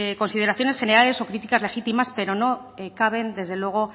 consideraciones generales o críticas legítimas pero no caben desde luego